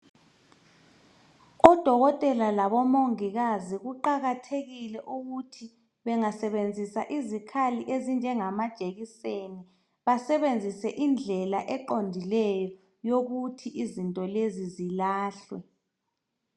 Odokotela labomongikazi kuqakathekile ukuthi bengasebenzisa izikhali ezinjengamajekiseni basebenzisa indlela eqondileyo yokuthi izinto lezi lilahlwe.